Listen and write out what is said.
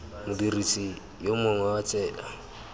modirisi yo mongwe wa tsela